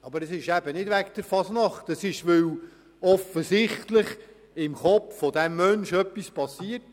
Aber das ist es eben nicht, sondern offensichtlich ist im Kopf dieses Menschen etwas passiert.